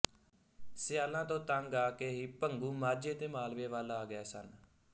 ਸਿਆਲਾਂ ਤੋਂ ਤੰਗ ਆ ਕੇ ਹੀ ਭੰਗੂ ਮਾਝੇ ਤੇ ਮਾਲਵੇ ਵੱਲ ਆ ਗਏ ਸਨ